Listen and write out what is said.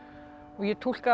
ég túlkaði